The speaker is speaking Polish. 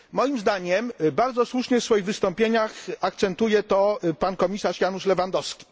Moim zdaniem bardzo słusznie w swoich wystąpieniach akcentuje to komisarz Janusz Lewandowski.